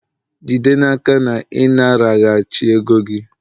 jide n'aka na ị naraghachi ego gị!